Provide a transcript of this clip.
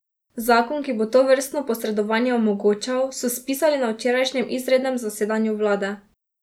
Zakon, ki bo tovrstno posredovanje omogočal, so spisali na včerajšnjem izrednem zasedanju vlade.